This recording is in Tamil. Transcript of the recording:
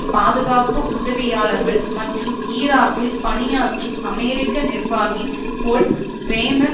பாதுகாப்பு உதவியாளர்கள் மற்றும் ஈராக்கில் பணியாற்றும் அமெரிக்க நிர்வாகி போல் பிரேமர்